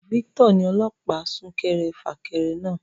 Victor ni ọlọ́pàá sún kẹrẹ fà kẹrẹ náà